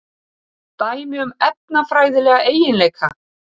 Dæmi um efnafræðilega eiginleika.